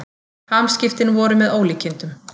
Hamskiptin voru með ólíkindum.